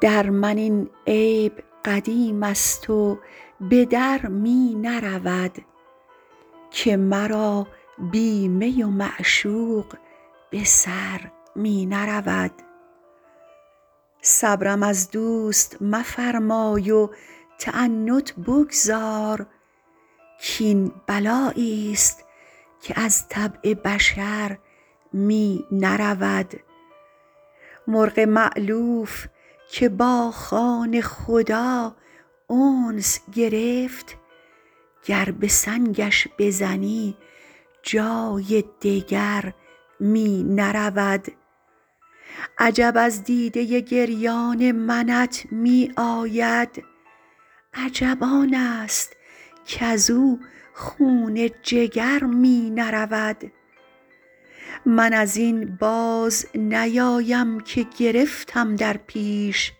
در من این عیب قدیم است و به در می نرود که مرا بی می و معشوق به سر می نرود صبرم از دوست مفرمای و تعنت بگذار کاین بلایی ست که از طبع بشر می نرود مرغ مألوف که با خانه خدا انس گرفت گر به سنگش بزنی جای دگر می نرود عجب از دیده گریان منت می آید عجب آن است کز او خون جگر می نرود من از این باز نیایم که گرفتم در پیش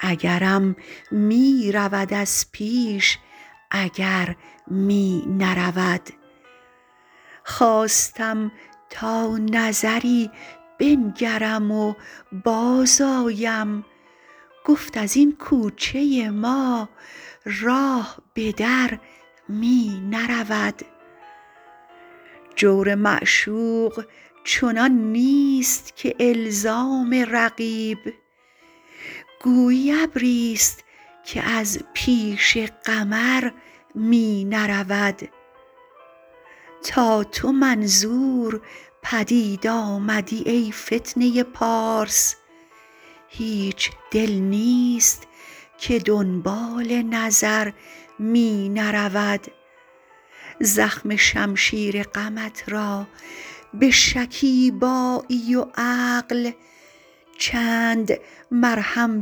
اگرم می رود از پیش اگر می نرود خواستم تا نظری بنگرم و بازآیم گفت از این کوچه ما راه به در می نرود جور معشوق چنان نیست که الزام رقیب گویی ابری ست که از پیش قمر می نرود تا تو منظور پدید آمدی ای فتنه پارس هیچ دل نیست که دنبال نظر می نرود زخم شمشیر غمت را به شکیبایی و عقل چند مرهم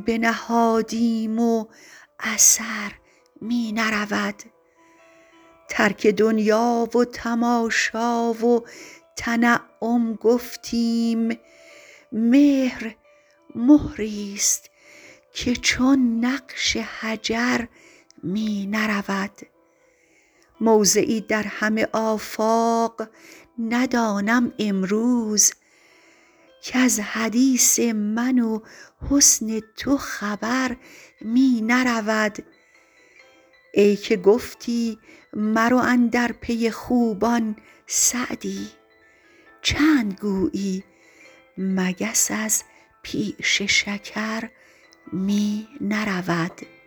بنهادیم و اثر می نرود ترک دنیا و تماشا و تنعم گفتیم مهر مهری ست که چون نقش حجر می نرود موضعی در همه آفاق ندانم امروز کز حدیث من و حسن تو خبر می نرود ای که گفتی مرو اندر پی خوبان سعدی چند گویی مگس از پیش شکر می نرود